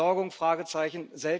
Entsorgung Fragezeichen.